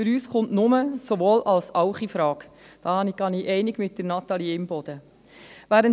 Für uns kommt nur ein Sowohl-als-Auch infrage, da gehe ich mit Natalie Imboden einig.